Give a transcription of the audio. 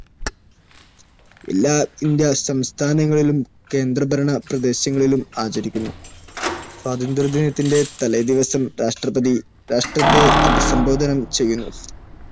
എല്ലാ ഇന്ത്യൻ സംസ്ഥാനങ്ങളിലും കേന്ദ്രഭരണ പ്രദേശങ്ങളിലും ആചരിക്കുന്നു. സ്വാതന്ത്ര്യദിനത്തിന്റെ തലേദിവസം, രാഷ്ട്രപതി രാഷ്ട്രത്തെ അഭിസംബോധന ചെയ്യുന്നു.